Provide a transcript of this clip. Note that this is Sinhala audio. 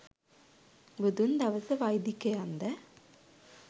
බුදුන් දවස වෛදිකයන්ද